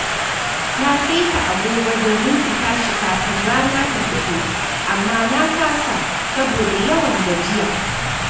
Na saita agogo domin in tashi kafin rana ta fito, amma na kasa saboda yawan gajiya.